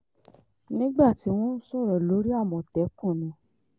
nígbà tí wọ́n ń sọ̀rọ̀ lórí àmọ̀tẹ́kùn ni